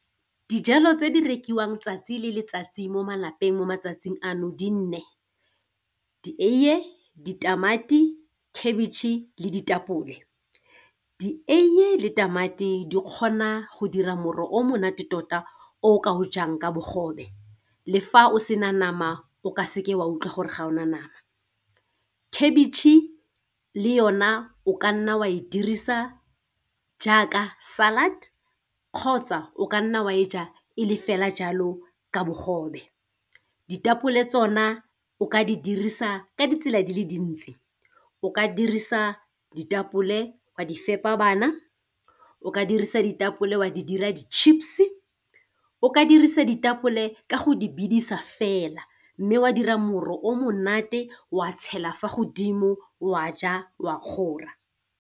Dijalo tse di rekiwang 'tsatsi le letsatsi mo malapeng mo matsatsing ano di nne di eiye, ditamati, khabitšhe, le ditapole. Dieiye le tamati di kgona go dira moro o monate tota o o ka o jang ka bogobe, le fa o sena nama o ka seke wa utlwe gore ga o na nama. Khabitšhe le yona o ka nna wa e dirisa jaaka salad kgotsa o ka nna wa e ja e le fela jalo ka bogobe. Ditapole tsona o ka di dirisa ka ditsela di le dintsi o ka dirisa ditapole wa di fepa bana, o ka dirisa ditapole wa di dira di-chips, o ka dirisa ditapole ka go di bidisa fela, mme o a dira moro o monate wa tshela fa godimo wa ja wa kgora.